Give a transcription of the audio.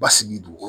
Basigi dugu